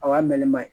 O y'a mɛnlen man ɲi